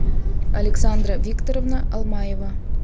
александра викторовна алмаева